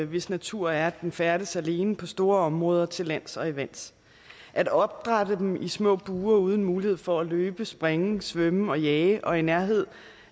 hvis natur er at den færdes alene over store områder til lands og i vandet at opdrætte dem i små bure uden mulighed for at løbe springe svømme og jage og i nærhed